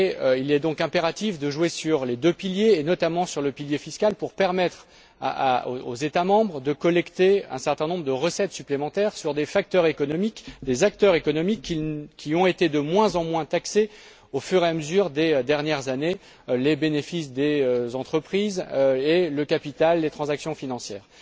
Il est donc impératif de jouer sur les deux piliers, et notamment sur le pilier fiscal, pour permettre aux États membres de collecter un certain nombre de recettes supplémentaires sur des facteurs économiques, des acteurs économiques qui ont été de moins en moins taxés au cours des dernières années les bénéfices des entreprises et le capital, les transactions financières.